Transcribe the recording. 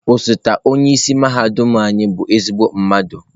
Osote onye isi mahadum anyị bụ ezigbo mmadụ.